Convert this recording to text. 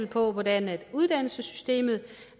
på hvordan uddannelsessystemet